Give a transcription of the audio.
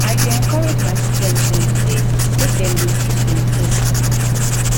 i dey encourage my student dem dem sey make dem dey teach demsef